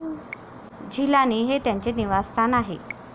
झिलानी हे त्याचे निवासस्थान आहे.